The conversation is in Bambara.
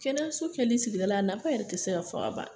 Kɛnɛyaso kɛli sigida la, nafa yɛrɛ ti se ka fɔ ka ban